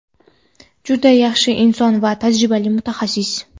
Juda yaxshi inson va tajribali mutaxassis.